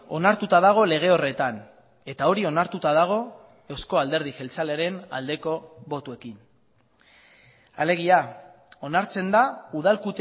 onartuta dago lege horretan eta hori onartuta dago eusko alderdi jeltzalearen aldeko botoekin alegia onartzen da udal